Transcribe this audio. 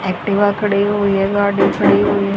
Activa खड़ी हुई है गाड़ी खड़ी हुई है।